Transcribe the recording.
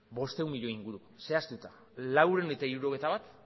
bostehun milioi inguru zehaztuta laurehun eta hirurogeita bat